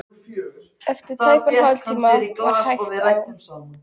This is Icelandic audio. Eftir tæpan hálftíma var hægt á.